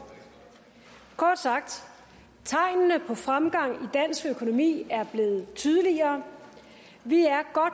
kort sagt tegnene på fremgang i dansk økonomi er blevet tydeligere vi er godt